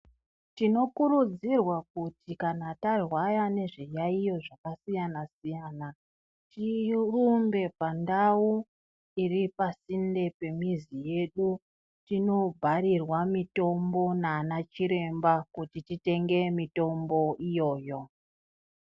Tinokurudzirwa kuti kana tarwara nezviyayiyo zvakasiyana siyana, tirumbe pandawu iripasinde pemizi yedu tinobharirwa mitombo nanachiremba kuti titenge mitombo iyoyo.